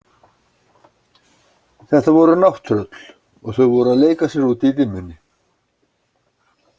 Þetta voru nátttröll og þau voru að leika sér úti í dimmunni.